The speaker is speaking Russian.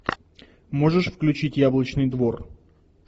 можешь включить яблочный двор